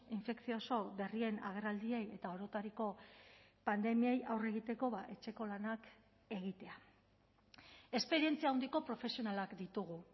infekzioso berrien agerraldiei eta orotariko pandemiei aurre egiteko etxeko lanak egitea esperientzia handiko profesionalak ditugu